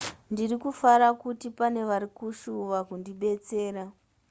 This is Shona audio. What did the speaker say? ndiri kufara kuti pane vari kushuva kundibetsera